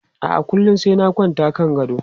A'a, kullum sai na kwanta kan gado.